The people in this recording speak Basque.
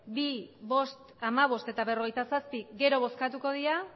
bi bost hamabost eta berrogeita zazpi gero bozkatuko dira